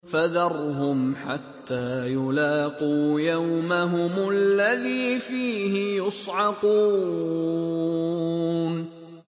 فَذَرْهُمْ حَتَّىٰ يُلَاقُوا يَوْمَهُمُ الَّذِي فِيهِ يُصْعَقُونَ